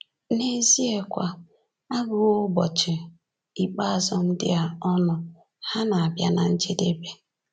N’eziekwa, a gụwo ụbọchị ikpeazụ ndị a ọnụ; ha na-abịa ná njedebe.